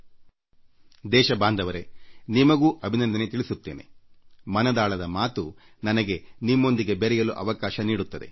ಮನ್ ಕಿ ಬಾತ್ ನಿಮ್ಮೊಂದಿಗೆ ಸಂಪರ್ಕ ಸಾಧಿಸಲು ಒಂದು ಒಳ್ಳೆ ಅವಕಾಶ ನೀಡಿದೆ